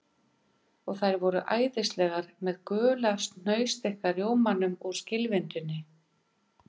Og þær voru æðislegar með gula hnausþykka rjómanum úr skilvindunni